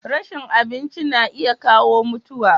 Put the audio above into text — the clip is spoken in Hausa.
rashin abinci na iya kawo mutuwa